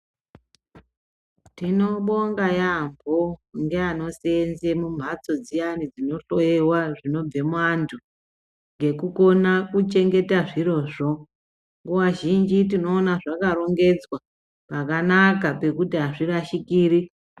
Tinobonga yaambo ngeanoseenze mumhatso dziyani dzinohloiwa zvinobve muantu, ngekukona kuchengeta zvirozvo. Nguwa zhinji tinoona zvakarongedzwa pakanaka pekuti azvirashikiri.